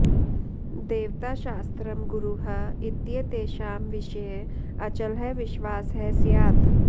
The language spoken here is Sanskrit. देवता शास्त्रं गुरुः इत्येतेषां विषये अचलः विश्वासः स्यात्